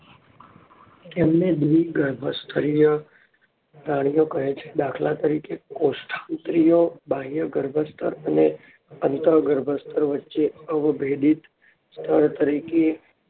તેમને દ્વિગર્ભસ્તરીય પ્રાણીઓ કહે છે. દાખલ તરીકે કોષ્ઠણત્રીઓ. બાહ્યગર્ભસ્તર અને અંતઃ ગર્ભસ્તર વચ્ચે અવિભેદિત સ્તર તરીકે